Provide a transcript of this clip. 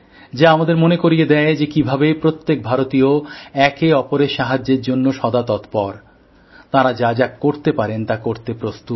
যা আমাদের মনে করিয়ে দেয় যে কিভাবে প্রত্যেক ভারতীয় একে অপরের সাহায্যের জন্য সদাতৎপরতাঁরা যা যা করতে পারেন তা করতে প্রস্তুত